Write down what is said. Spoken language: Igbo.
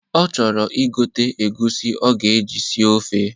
Ọ chọrọ igote egwusi ọ ga-eji sie ofe.